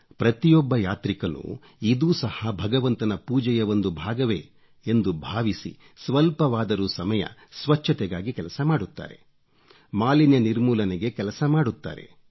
ಪ್ರತಿಯೊಬ್ಬ ಯಾತ್ರಿಕನೂ ಇದೂ ಸಹಾ ಭಗವಂತನ ಪೂಜೆಯ ಒಂದು ಭಾಗವೇ ಎಂದು ಭಾವಿಸಿ ಸ್ವಲ್ಪವಾದರೂ ಸಮಯ ಸ್ವಚ್ಚತೆಗಾಗಿ ಕೆಲಸ ಮಾಡುತ್ತಾರೆ ಮಾಲಿನ್ಯ ನಿರ್ಮೂಲನೆಗೆ ಕೆಲಸ ಮಾಡುತ್ತಾರೆ